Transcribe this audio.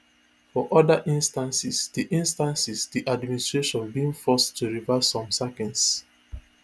for oda instances di instances di administration bin dey forced to reverse some sackings